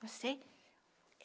Não sei.